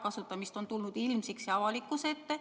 Neid juhtumeid on tulnud ilmsiks, avalikkuse ette.